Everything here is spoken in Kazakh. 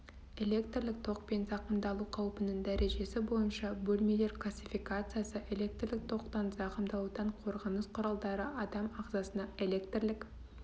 электрлік токпен зақымдалу қаупінің дәрежесі бойынша бөлмелер классификациясы электрлік токтан зақымдалудан қорғаныс құралдары адам ағзасына электрлік